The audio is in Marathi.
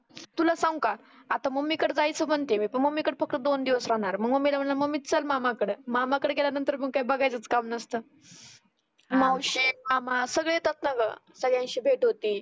तुला सांगु का? आता मम्मी कड जायचं म्हणते मी. पण मम्मी कड फक्त दोन दिवस राहणार आहे. मग मम्मीला म्हणल मम्मी चल मामा कडं. मामा कडे गेल्या नंतर मग काय बघायचं काम नसतं. मावशी, मामा सगळे येतात ना गं. सगळ्यांशी भेट होती.